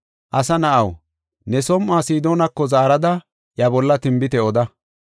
“Asa na7aw, ne som7uwa Sidoonako zaarada iya bolla tinbite oda.